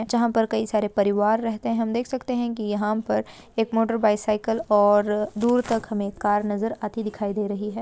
जहां पर कई सारे परिवार रह सकते हैं हम देख सकते हैं कि यहाँ पर एक मोटर बाइसिकल और दूर तक एक हमें कार नजर आती दिखाई दे रही है।